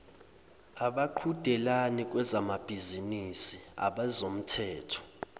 abaqhudelani kwezamabhizinisi abezomthetho